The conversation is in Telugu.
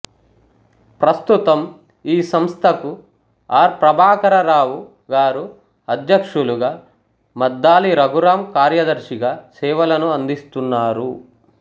ప్రస్తుతం ఈ సంస్థకు ఆర్ ప్రభాకరరావు గారు అధ్యక్షులుగా మద్దాళి రఘురామ్ కార్యదర్శిగా సేవలను అందిస్తున్నారు